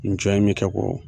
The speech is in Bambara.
in bɛ kɛ k'o